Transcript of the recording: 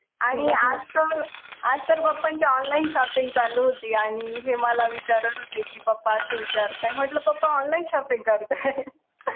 आणि आज तर आणि आज तर papa ची online shopping होती आणि हे मला विचारत होते कि papa असं विचरतायत म्हंटल papa online shopping करताय